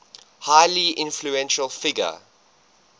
highly influential figure